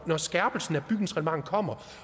når skærpelsen af bygningsreglementet kommer